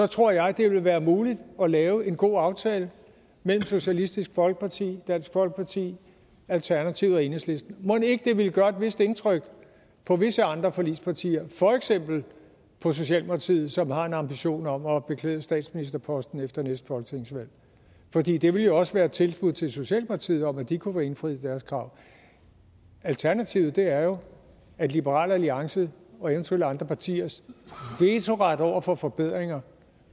tror jeg at det vil være muligt at lave en god aftale mellem socialistisk folkeparti dansk folkeparti alternativet og enhedslisten mon ikke at det ville gøre et vist indtryk på visse andre forligspartier for eksempel på socialdemokratiet som har en ambition om at beklæde statsministerposten efter næste folketingsvalg fordi det vil jo også være et tilbud til socialdemokratiet om at de kunne få indfriet deres krav alternativet er jo at liberal alliance og eventuelle andre partiers vetoret over for forbedringer